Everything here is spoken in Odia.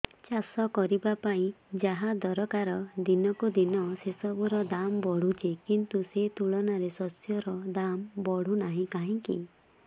ଚାଷ କରିବା ପାଇଁ ଯାହା ଦରକାର ଦିନକୁ ଦିନ ସେସବୁ ର ଦାମ୍ ବଢୁଛି କିନ୍ତୁ ସେ ତୁଳନାରେ ଶସ୍ୟର ଦାମ୍ ବଢୁନାହିଁ କାହିଁକି